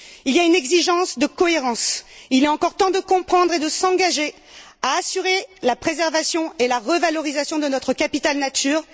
Il y a une exigence de cohérence. Il est encore temps de comprendre et de s'engager à assurer la préservation et la revalorisation de notre capital nature.